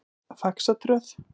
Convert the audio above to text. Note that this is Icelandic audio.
Faxatröð